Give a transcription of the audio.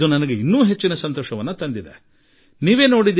ಇದು ನನಗೆ ಇನ್ನೂ ಹೆಚ್ಚು ಒಳ್ಳೆಯದೆನಿಸಿತು